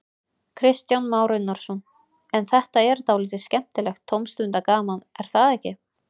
Kristján Már Unnarsson: En þetta er dálítið skemmtilegt tómstundagaman, er það ekki?